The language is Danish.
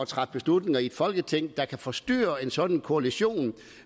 træffe beslutninger i folketinget der kan forstyrre en sådan koalition